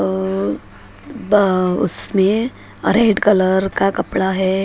अ बाउ उसमें red colour का कपड़ा है ।